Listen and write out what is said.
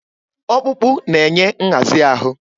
Ọkpụkpụ na-enye nhazi ahụ.